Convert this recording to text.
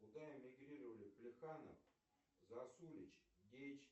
куда эмигрировали плеханов засулич